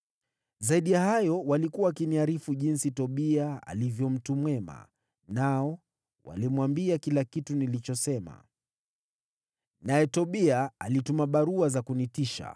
Zaidi ya hayo, walikuwa wakiniarifu jinsi Tobia alivyo mtu mwema, nao walimwambia kila kitu nilichosema. Naye Tobia alituma barua za kunitisha.